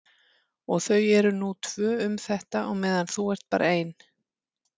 Og þau eru nú tvö um þetta á meðan þú ert bara ein.